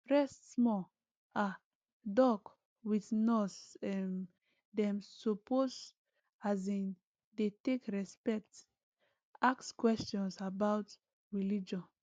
rest smallah doc with nurse um dem supposeas in dey take respect ask questions about religion